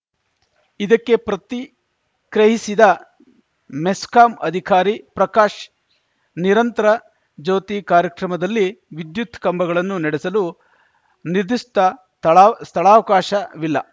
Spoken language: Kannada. ಇದಕ್ಕೆ ಪ್ರತಿಕ್ರಿಯಿಸಿದ ಮೆಸ್ಕಾಂ ಅಧಿಕಾರಿ ಪ್ರಕಾಶ್‌ ನಿರಂತರ ಜ್ಯೋತಿ ಕಾರ್ಯಕ್ರಮದಲ್ಲಿ ವಿದ್ಯುತ್‌ ಕಂಬಗಳನ್ನು ನೆಡೆಸಲು ನಿದಿಷ್ಟಥಳಾಸ್ಥಳಾವಕಾಶವಿಲ್ಲ